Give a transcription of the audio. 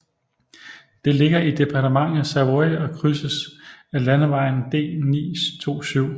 Det ligger i departementet Savoie og krydses af landevejen D927